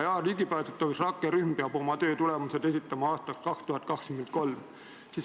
Jah, ligipääsetavuse rakkerühm peab oma töötulemused esitama aastaks 2023.